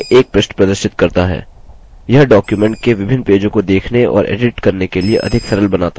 यह document के विभिन्न पेजों को देखने और एडिट करने के लिए अधिक सरल बनाता है